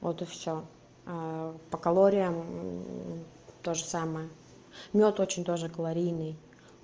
погода все по калориям тоже самое мёд очень тоже калорийный